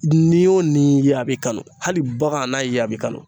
Ni o ni ye a b'i kanu hali bagan n'a y'i ye a b'i kanu